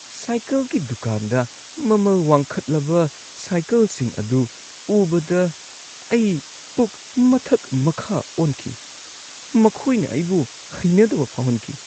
ꯁꯥꯏꯀꯜꯒꯤ ꯗꯨꯀꯥꯟꯗ ꯃꯃꯜ ꯋꯥꯡꯈꯠꯂꯕ ꯁꯥꯏꯀꯜꯁꯤꯡ ꯑꯗꯨ ꯎꯕꯗ ꯑꯩ ꯄꯨꯛ ꯃꯊꯛ-ꯃꯈꯥ ꯑꯣꯟꯈꯤ꯫ ꯃꯈꯣꯏꯅ ꯑꯩꯕꯨ ꯍꯩꯅꯗꯕ ꯐꯥꯎꯍꯟꯈꯤ꯫